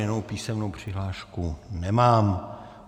Jinou písemnou přihlášku nemám.